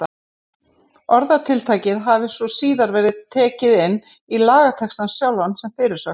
Orðatiltækið hafi svo síðar verið tekið inn í lagatextann sjálfan sem fyrirsögn.